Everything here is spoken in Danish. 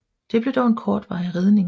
Det blev dog en kortvarig redning